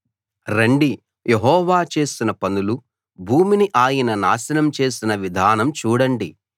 రండి యెహోవా చేసిన పనులు భూమిని ఆయన నాశనం చేసిన విధానం చూడండి